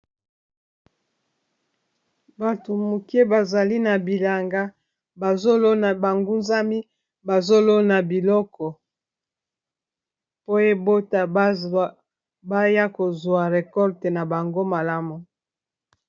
Bato moke bazali na bilanga bazolona bangunzami bazolona biloko po ebota baya kozwa rekolte na bango malamu